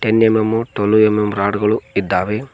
Ten M M twelve M M rod ಗಳು ಇದ್ದಾವೆ.